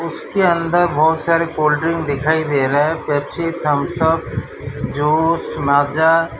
इसके अंदर बहुत सारे कोल्ड ड्रिंक दिखाई दे रहा है पेप्सी थम्सअप जूस माजा ।